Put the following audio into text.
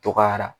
Dɔgɔyara